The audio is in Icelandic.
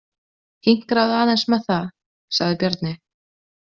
Hinkraðu aðeins með það, sagði Bjarni.